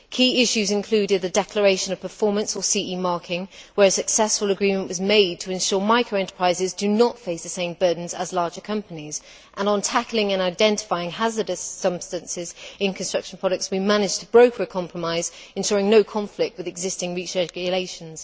Key issues included the declaration of performance or CE marking, where a successful agreement was made to ensure micro enterprises do not face the same burdens as larger companies. On tackling and identifying hazardous substances in construction products, we managed to broker a compromise ensuring no conflict with existing REACH regulations.